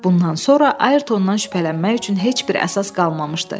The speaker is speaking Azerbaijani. Bundan sonra Ayrtondan şübhələnmək üçün heç bir əsas qalmamışdı.